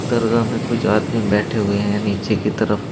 दरगाह में कुछ आदमी बैठे हुए हैं नीचे की तरफ।